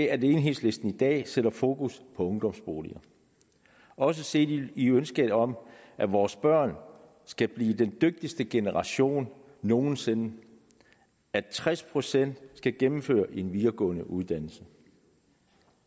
at enhedslisten i dag sætter fokus på ungdomsboliger også set i ønsket om at vores børn skal blive den dygtigste generation nogen sinde at tres procent skal gennemføre en videregående uddannelse